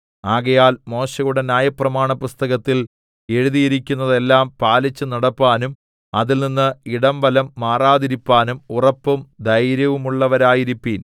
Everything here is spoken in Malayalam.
ആകയാൽ മോശെയുടെ ന്യായപ്രമാണപുസ്തകത്തിൽ എഴുതിയിരിക്കുന്നതെല്ലാം പാലിച്ചു നടപ്പാനും അതിൽനിന്ന് ഇടം വലം മാറാതിരിപ്പാനും ഉറപ്പും ധൈര്യവുമുള്ളവരായിരിപ്പീൻ